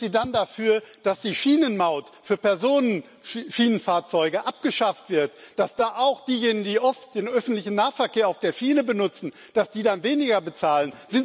Sind Sie dann dafür, dass die Schienenmaut für Personenschienenfahrzeuge abgeschafft wird, dass da auch diejenigen, die oft den öffentlichen Nahverkehr auf der Schiene benutzen, dann weniger bezahlen?